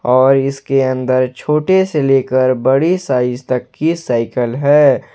और इसके अंदर छोटे से लेकर बड़ी साइज तक की साइकल है।